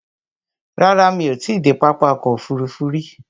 Rárá, mí ò ti i dé pápá ọkò òfurufú rí.